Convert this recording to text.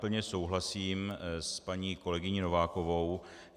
Plně souhlasím s paní kolegyní Novákovou.